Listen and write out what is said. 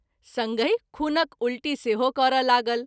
संगहि खूनक उल्टी सेहो करय लागल।